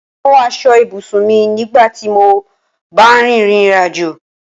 Mo mú aṣọ ibùsùn mi nígbà tí mó bá ń rìn ìrìnàjò